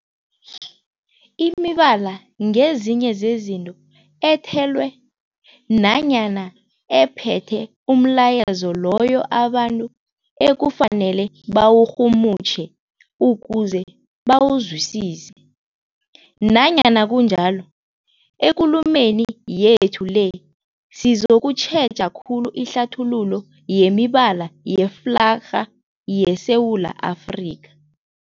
Imibala ngezinye zezinto ethelwe nanyana ephethe umlayezo loyo abantu ekufanele bawurhumutjhe ukuze bawuzwisise. Nanyana kunjalo, ekulumeni yethu le sizokutjheja khulu ihlathululo yemibala yeflarha yeSewula Afrika.